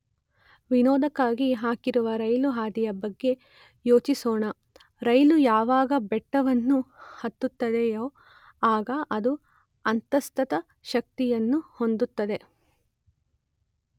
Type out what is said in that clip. ವಿನೋದಕ್ಕಾಗಿ ಹಾಕಿರುವ ರೈಲು ಹಾದಿಯ ಬಗ್ಗೆ ಯೋಚಿಸೊಣ ರೈಲು ಯಾವಾಗ ಬೆಟ್ಟವನ್ನು ಹತ್ತುತ್ತದೆಯೋ ಆಗ ಅದು ಅಂತಸ್ಥ ಶಕ್ತಿಯನ್ನು ಹೊಂದುತ್ತದೆ.